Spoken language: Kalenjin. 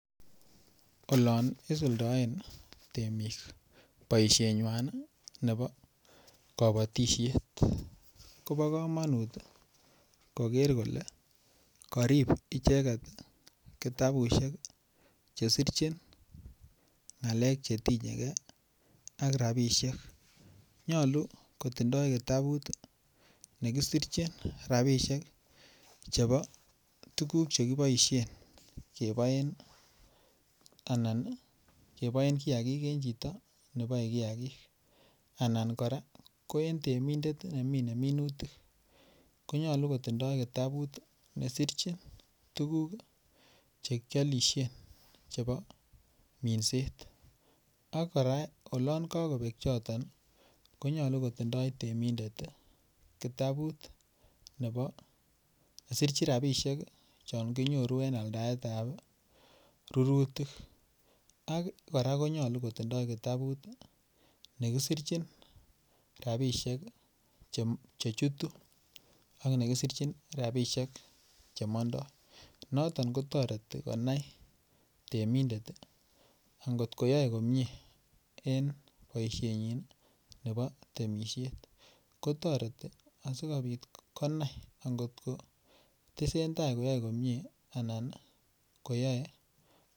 Olon isuldoen temik boisienywa nebo kabatisiet kobo komonut koger kole karib icheget kitabusiek Che sirchin ngalek Che tinye ajk rabisiek nyolu kotindoi kitabut ne kisirchin rabisiek chebo tuguk Che kiboisien keboen kiagik en chito ne baei kiagik anan kora ko en temindet nemine minutik ko nyolu kotindoi kitabut ne sirchin tuguk Che kialisien chebo minset ak kora olon kagobek choton ko nyolu kotindoi temindet kitabut chon kinyoru en aldaet ab rurutik ak kora ko nyolu kotindoi kitabut ne kisirchin rabisiek Che chutu ak ne kisirchin rabisiek Che mandoi noton kotoreti konai temindet angot koyoe komie en boisienyin nebo temisiet ko toreti asikobit konai angot ko tesentai koyoe komie anan komoyoe komie